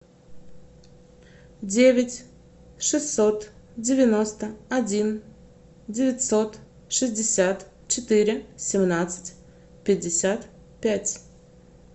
девять шестьсот девяносто один девятьсот шестьдесят четыре семнадцать пятьдесят пять